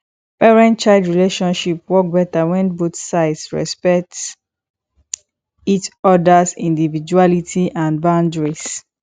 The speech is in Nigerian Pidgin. parentchild relationship work better when both sides respect each others individuality and boundaries